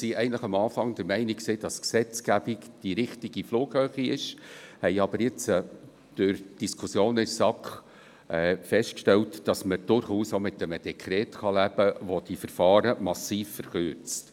Am Anfang waren wir eigentlich der Meinung, dass die Gesetzgebung die richtige Flughöhe ist, haben aber jetzt durch die Diskussionen in der SAK festgestellt, dass man durchaus auch mit einem Dekret leben kann, das die Verfahren massiv verkürzt.